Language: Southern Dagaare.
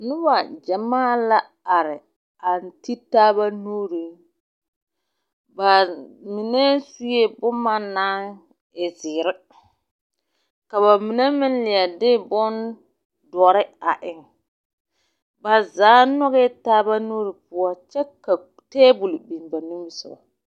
Noba gyamaa la are a ti taaba nuuriŋ ba mine sue boma naŋ e zeere ka ba mine meŋ leɛ de bondɔre a eŋ ba zaa nyɔgɛɛ taaba nuuri oɔ kyɛ ka teebol biŋ ba nimisoga.